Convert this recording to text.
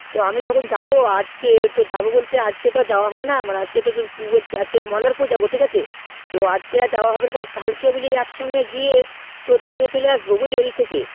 তো আমি যখন যাবো আজ কে বলতে তো আজকে আর যাও হবে না আজকে তুই বলছিস মোল্লারপুর যাবো বলছিস তুই তো আজ কে আর যাওয়া হবে না কাল কে বুঝলি এক সঙ্গে গিয়ে দিয়ে চলে আসবো ওই দিক থেকে